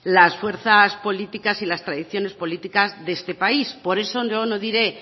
las fuerzas políticas y las tradiciones políticas de este país por eso yo no diré